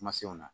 Kuma fɛnw na